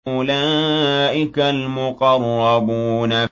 أُولَٰئِكَ الْمُقَرَّبُونَ